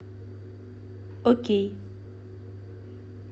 окей